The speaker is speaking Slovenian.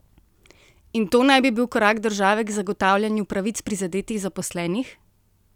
In to naj bi bil korak države k zagotavljanju pravic prizadetih zaposlenih?